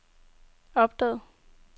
opdagede